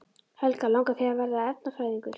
Helga: Langar þig að verða efnafræðingur?